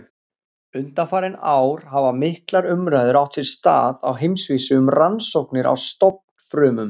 Undanfarin ár hafa miklar umræður átt sér stað á heimsvísu um rannsóknir á stofnfrumum.